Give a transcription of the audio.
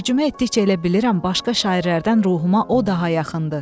Tərcümə etdikcə elə bilirəm başqa şairlərdən ruhuma o daha yaxındır.